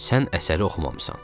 sən əsəri oxumamısan.